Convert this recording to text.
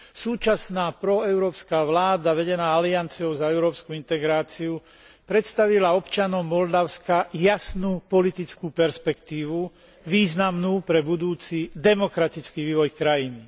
Súčasná proeurópska vláda vedená alianciou za európsku integráciu predstavila občanom Moldavska jasnú politickú perspektívu, významnú pre budúci demokratický vývoj krajiny.